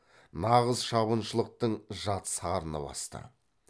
нағыз шабыншылықтың жат сарыны басты